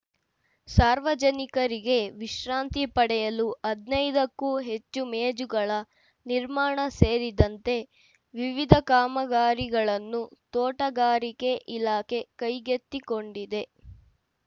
ಸಾರ್ವಜನಿಕರಿಗೆ ವಿಶ್ರಾಂತಿ ಪಡೆಯಲು ಹದಿನೈದಕ್ಕೂ ಹೆಚ್ಚು ಮೇಜುಗಳ ನಿರ್ಮಾಣ ಸೇರಿದಂತೆ ವಿವಿಧ ಕಾಮಗಾರಿಗಳನ್ನು ತೋಟಗಾರಿಕೆ ಇಲಾಖೆ ಕೈಗೆತ್ತಿಕೊಂಡಿದೆ